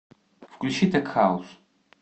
включи тек хаус